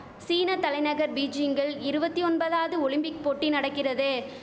சீன தலைநகர் பீஜிங்கில் இருவத்தி ஒன்பதாவது ஒலிம்பிக் போட்டி நடக்கிறது